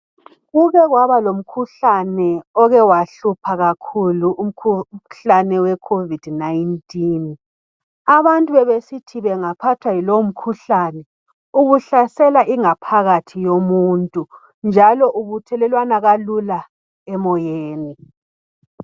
Kuke kwaba lomkhuhlane oke wahlupha kakhulu umkhuhlane we COVID 19 abantu bebesithi bengaphathwa yilowo mkhuhlane ubuhlasela ingaphakathi yomuntu njalo ubuthelelwana kalula emoyeni